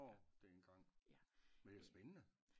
Når det en gang men det er spændende